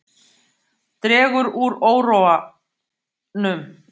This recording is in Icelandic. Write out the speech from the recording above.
Dregur úr óróanum